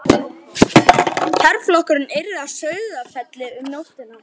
Herflokkurinn yrði að Sauðafelli um nóttina.